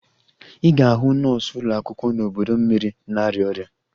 Ị ga-ahụ nọọsụ ụlọ akwụkwọ n'ọdọ mmiri na-arịa ọrịa